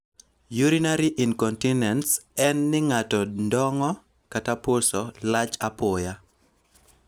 Urinary incontinence' en ni ng'ato ndongo' (puso) lach apoya.